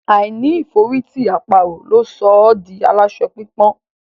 Àìní ìforítì àparò ló sọ ọ́ di aláṣọ pípọ́n.